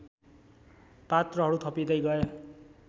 पात्रहरू थपिँदै गए